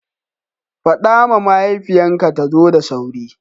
Fada ma mahaifiyan ka ta zo da sauri.